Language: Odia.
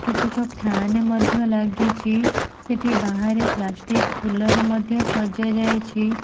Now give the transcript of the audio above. କେତେକ ଫ୍ୟାନେ ମଧ୍ୟ ଲାଗିଛି ସେଟି ବାହାରେ ପ୍ଲାଷ୍ଟିକ ଫୁଲ ରେ ମଧ୍ୟ ସଜା ଯାଇଛି।